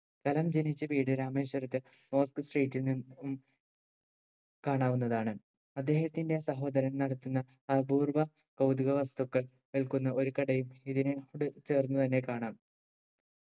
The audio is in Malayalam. കലാം ജനിച്ച വീട് രാമേശ്വരത്തെ state ഉം കാണാനാവുന്നതാണ് അദ്ദേഹത്തിന്റെ സഹോദരൻ നടത്തുന്ന അപൂർവ കൗതുക വസ്തുക്കൾ വിൽക്കുന്ന ഒരു കടയും ഇതിനോട് ചേർന്ന് തന്നെ കാണാം